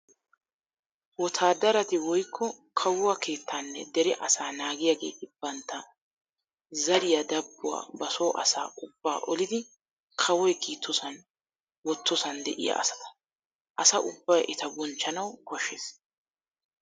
Wotaadarati woykko kawuwa keettaanne dere asaa naggiyaageeti bantta zariya dabbuwaa ba so asaa ubba olidi kawoy kiittoson wottosan de"iyaa asata. Asa ubbay eta bonchchanawu koshshees.